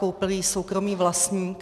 Koupil ji soukromý vlastník.